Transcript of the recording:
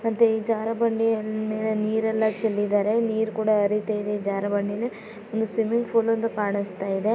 ಮತ್ತೆ ಈ ಜಾರ ಬಂಡೆಯ ಮೇಲೆ ನೀರೆಲ್ಲ ಚೆಲ್ಲಿದ್ದಾರೆ ನೀರು ಕೂಡ ಅರಿತಾ ಇದೆ ಜಾರ ಬಂಡೆಯಲ್ಲಿ ಮೇಲೆ ಒಂದು ಸ್ವಿಮಿಂಗ್ ಫೂಲ್ ಒಂದು ಕಾಣುಸ್ತಾ ಇದೆ.